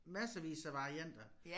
Massevis af varianter